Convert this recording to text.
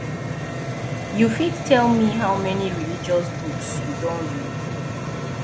u fit tell me how many religious books you don read